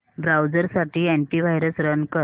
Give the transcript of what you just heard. browser साठी antivirus run कर